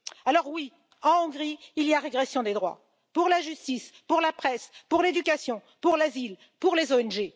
Alors oui, en Hongrie, il y a une régression des droits pour la justice, pour la presse, pour l'éducation, pour l'asile, pour les ONG.